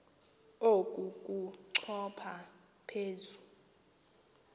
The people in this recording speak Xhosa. oku kochopha phezu